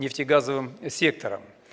нефтегазовым сектором